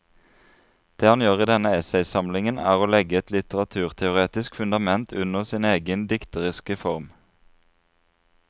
Det han gjør i denne essaysamlingen er å legge et litteraturteoretisk fundament under sin egen dikteriske form.